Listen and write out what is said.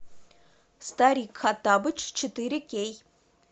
старик хоттабыч четыре кей